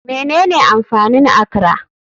Menene amfanin akra?